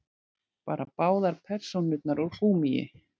Bara báðar persónurnar úr gúmmíi.